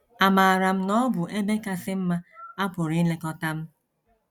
Amaaram na ọ bụ ebe kasị mma a pụrụ ilekọta m.